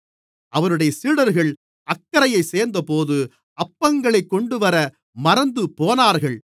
அவருடைய சீடர்கள் அக்கரையைச் சேர்ந்தபோது அப்பங்களைக் கொண்டுவர மறந்துபோனார்கள்